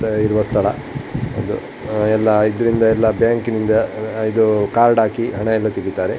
ಥ ಇರುವ ಸ್ಥಳ ಇದರಿಂದ ಎಲ್ಲ ಬ್ಯಾಂಕಿನಿಂದ ಇದು ಕಾರ್ಡ್ ಹಾಕಿ ಹಣ ಎಲ್ಲ ತೆಗಿತಾರೆ.